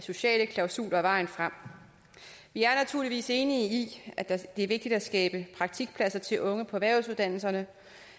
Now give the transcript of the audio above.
sociale klausuler er vejen frem vi er naturligvis enige i at det er vigtigt at skabe praktikpladser til unge på erhvervsuddannelserne